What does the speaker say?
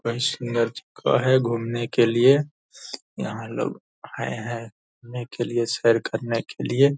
place का है घूमने के लिए यहाँ लोग हाय-हाय घूमने के लिए सैर करने के लिए --